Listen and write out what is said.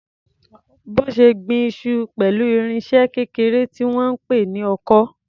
Bose gbin iṣu pẹ̀lú irinṣẹ́ kékeré tí wọ́n ń pè ní ọkọ́.